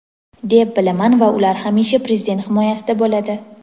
deb bilaman va ular hamisha Prezident himoyasida bo‘ladi.